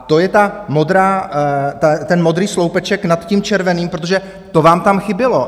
A to je ten modrý sloupeček nad tím červeným, protože to vám tam chybělo.